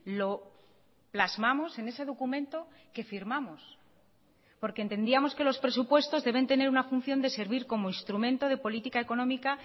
lo plasmamos en ese documento que firmamos porque entendíamos que los presupuestos deben tener una función de servir como instrumento de política económica